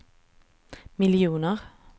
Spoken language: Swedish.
miljoner